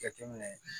Jateminɛ